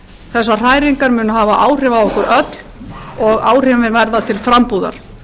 þessar hræringar munu hafa áhrif á okkur öll og áhrifin verða til frambúðar